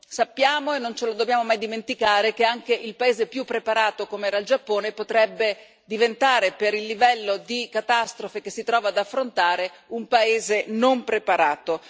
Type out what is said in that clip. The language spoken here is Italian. Sappiamo, e non ce lo dobbiamo mai dimenticare, che anche il paese più preparato com'era il Giappone potrebbe diventare, per il livello di catastrofe che si trova ad affrontare, un paese non preparato.